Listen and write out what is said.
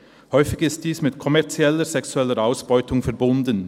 Häufig ist dies mit kommerzieller sexueller Ausbeutung verbunden.